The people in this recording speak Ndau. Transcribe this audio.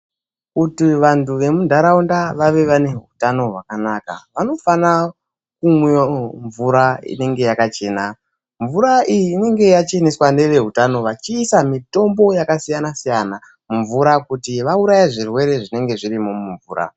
Kuti vanhtu vemunhtaraunda vave vane utano hwakanaka vanofana kumwa mvura inenge yakachena, mvura iyi inenge yacheneswa neveuhutano vachiisa mitombo yakasiyana siyana mumvura kuti vauraye zvirwere zvinenge zvirimo mumvura.